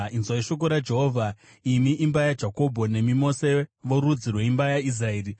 Inzwai shoko raJehovha imi imba yaJakobho, nemi mose vorudzi rweimba yaIsraeri.